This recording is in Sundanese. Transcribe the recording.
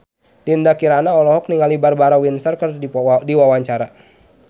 Dinda Kirana olohok ningali Barbara Windsor keur diwawancara